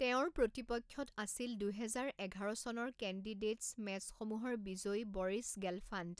তেওঁৰ প্ৰতিপক্ষত আছিল দুহেজাৰ এঘাৰ চনৰ কেণ্ডিডেটছ মেচসমূহৰ বিজয়ী বৰিছ গেলফাণ্ড।